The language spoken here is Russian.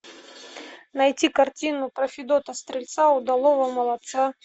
найти картину про федота стрельца удалого молодца